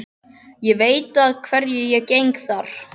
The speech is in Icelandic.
Ég veit að hverju ég geng þar.